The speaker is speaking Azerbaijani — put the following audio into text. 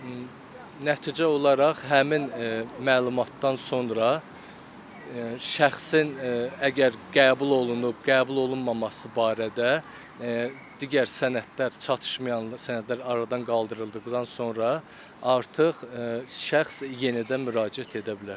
Və nəticə olaraq həmin məlumatdan sonra şəxsin əgər qəbul olunub, qəbul olunmaması barədə digər sənədlər çatışmayan sənədlər aradan qaldırıldıqdan sonra artıq şəxs yenidən müraciət edə bilər.